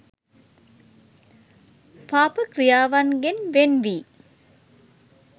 පාප ක්‍රියාවන්ගෙන් වෙන් වී